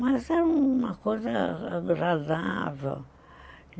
Mas era uma coisa agradável.